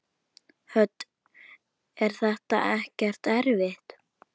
Hödd: Er þetta ekkert erfitt?